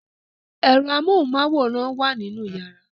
Ẹ̀rọ amóhunmáwòrán wà nínú yàrá